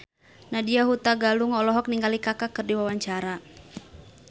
Nadya Hutagalung olohok ningali Kaka keur diwawancara